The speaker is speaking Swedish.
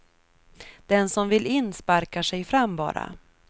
Den som vill in sparkar sig fram bara.